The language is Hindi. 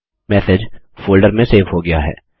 मैसेज फोल्डर में सेव हो गया है